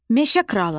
Meşə kralı.